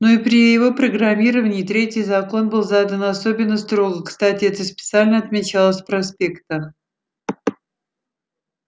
ну и при его программировании третий закон был задан особенно строго кстати это специально отмечалось в проспектах